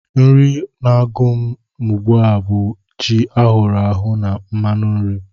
Nri na-agụ m ugbu a bụ ji ahụrụ ahụ na mmanụ nri